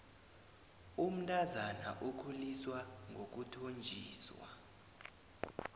umntazana ukhuliswa ngokuthonjiswa